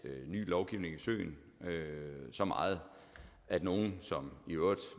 ny lovgivning i søen endda så meget at nogen som i øvrigt